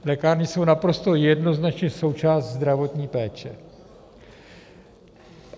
Lékárny jsou naprosto jednoznačně součást zdravotní péče.